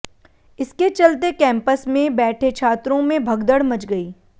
इसके चलते कैंपस में बैठे छात्रों में भगदड़ मच गई